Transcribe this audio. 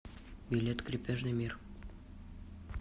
билет крепежный мир